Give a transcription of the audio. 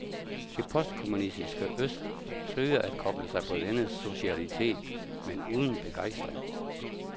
Det postkommunistiske øst søger at koble sig på denne socialitet, men uden begejstring.